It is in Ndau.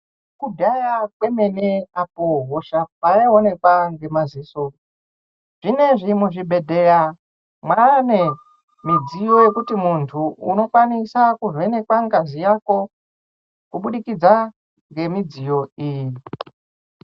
Kudhaya kwemene apo hosha payayionekwa ngemaziso, zvinezvi muzvibhedhleya mane midziyo yekuti muntu unokwanisa kuvhenekwa ngazi yako ,kubudikidza nemidziyo iyi.